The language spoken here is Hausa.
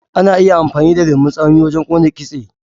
Ana iya amfani da lemon tsami wajen kona kitse.